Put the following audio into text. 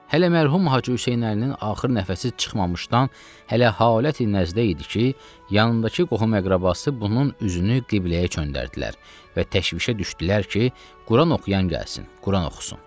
Hələ mərhum Hacı Hüseynəlinin axır nəfəsi çıxmamışdan, hələ haləti nəzdə idi ki, yanındakı qohum-əqrəbası bunun üzünü qibləyə döndərdilər və təşvişə düşdülər ki, Quran oxuyan gəlsin, Quran oxusun.